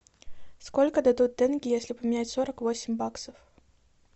сколько дадут тенге если поменять сорок восемь баксов